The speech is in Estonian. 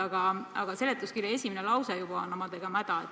Aga juba seletuskirja esimene lause on omadega mäda.